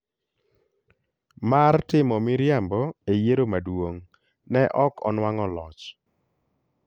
mar timo miriambo e yiero maduong’, ne ok onwang'o loch.